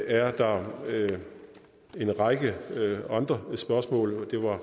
er der en række andre spørgsmål